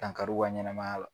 Dan kari u ka ɲɛnamaya la.